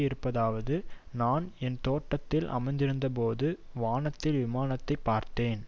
இருப்பதாவது நான் என் தோட்டத்தில் அமர்ந்திருந்தபோது வானத்தில் விமானத்தை பார்த்தேன்